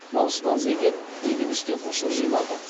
малшыдан зекет егіншіден ұшыр жиналды